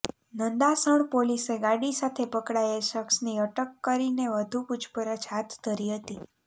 નંદાસણ પોલીસે ગાડી સાથે પકડાયેલ શખ્સની અટક કરીને વધુ પૂછપરછ હાથ ધરી હતી